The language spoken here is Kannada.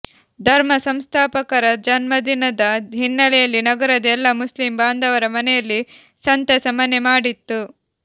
ಧರ್ಮ ಸಂಸ್ಥಾಪಕರ ಜನ್ಮದಿನದ ಹಿನ್ನೆಲೆಯಲ್ಲಿ ನಗರದ ಎಲ್ಲ ಮುಸ್ಲಿಂ ಬಾಂಧವರ ಮನೆಯಲ್ಲಿ ಸಂತಸ ಮನೆ ಮಾಡಿತ್ತು